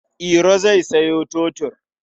Iro zai sayo totur.